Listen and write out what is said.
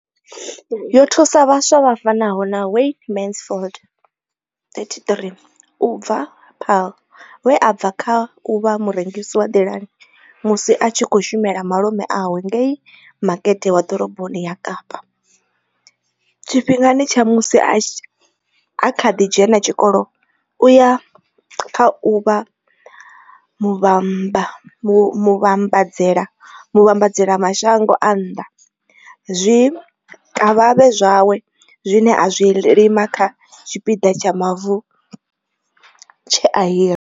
Yo thusa vhaswa vha fanaho na Wayne Mansfield, 33, u bva Paarl, we a bva kha u vha murengisi wa nḓilani musi a tshi khou shumela malume awe ngei Makete wa Ḓoroboni ya Kapa, tshifhingani tsha musi a kha ḓi dzhena tshikolo u ya kha u vha muvhambadzela mashango a nnḓa zwikavhavhe zwawe zwine a zwi lima kha tshipiḓa tsha mavu tshe a hira.